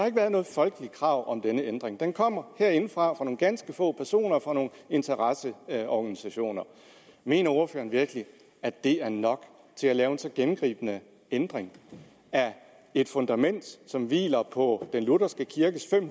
ikke været noget folkeligt krav om denne ændring den kommer herindefra fra nogle ganske få personer fra nogle interesseorganisationer mener ordføreren virkelig at det er nok til at lave en så gennemgribende ændring af et fundament som hviler på den lutherske kirkes